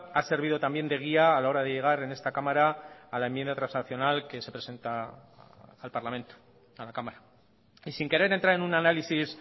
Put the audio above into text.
ha servido también de guía a la hora de llegar en esta cámara a la enmienda transaccional que se presenta al parlamento a la cámara y sin querer entrar en un análisis